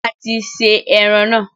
A ti se eran naa